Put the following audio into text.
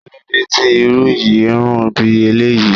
Kíló dé tí Irú yìí ń rùn bí eléyìí?